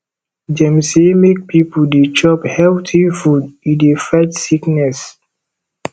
dem sey make pipo dey chop healthy food e dey fight sickness